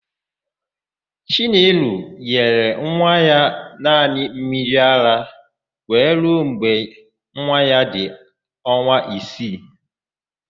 Chinelo nyere nwa ya naanị mmiriara were ruo mgbe nwa ya dị ọnwa isii.